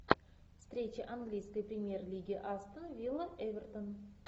встреча английской премьер лиги астон вилла эвертон